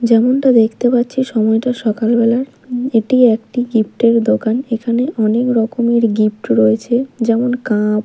যেমনটা দেখতে পাচ্ছি সময় টা সকালবেলার এটি একটি গিফট -এর দোকান এখানে অনেক রকমের গিফট রয়েছে যেমন কাপ --